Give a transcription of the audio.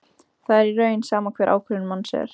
Það er í raun sama hver ákvörðun manns er.